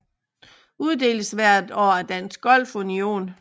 Uddeles hvert år af Dansk Golf Union